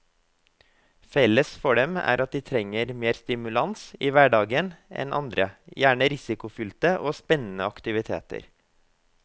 Felles for dem er at de trenger mer stimulans i hverdagen enn andre, gjerne risikofylte og spennende aktiviteter.